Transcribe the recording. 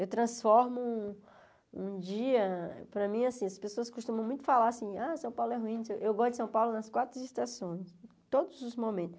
Eu transformo um dia... Para mim, assim as pessoas costumam muito falar assim, ah, São Paulo é ruim, eu gosto de São Paulo nas quatro estações, em todos os momentos.